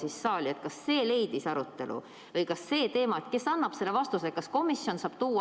Või see teema, et kes annab vastuse küsimusele, kas komisjon saab tuua ainult siis, kui on olemas komisjoni toetus.